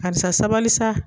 Karisa sabali sa!